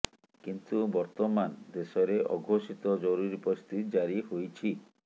କିନ୍ତୁ ବର୍ତମାନ ଦେଶରେ ଅଘୋଷିତ ଜରୁରୀ ପରିସ୍ଥିତି ଜାରି ହୋଇଛି